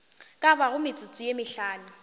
ka bago metsotso ye mehlano